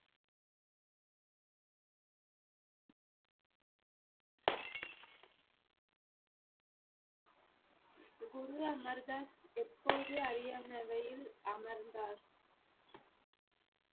குரு அமர்தாஸ் எப்போது அறியானையில் அமர்ந்தார்